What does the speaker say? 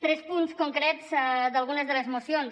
tres punts concrets d’algunes de les mocions